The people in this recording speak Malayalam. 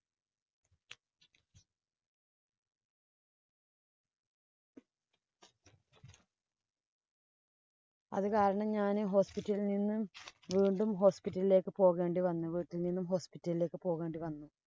അത് കാരണം ഞാന് hospital ല്‍ നിന്നും വീണ്ടും hospital ഇലേക്ക് പോകേണ്ടി വന്നു. വീട്ടില്‍ നിന്നും hospital ഇലേക്ക് പോകേണ്ടി വന്നു.